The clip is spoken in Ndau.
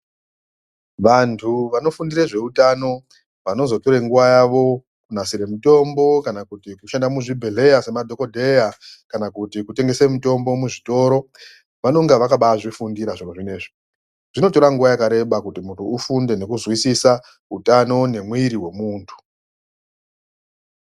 Vantu vamofundire zveutano vanozotore nguwa yavo kunasire mutombo kana kushanda muzvibhehlera semadhokodheya kana kuti kutengese mitombo muzvitoro vanenge vakanbazvifundira zviro zvinezvi. Zvinotora nguwa yakawanda kuti muntu ufunde nekuzwisisa mwiri wemuntu.